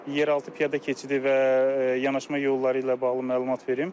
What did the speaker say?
Yeraltı piyada keçidi və yanaşma yolları ilə bağlı məlumat verim.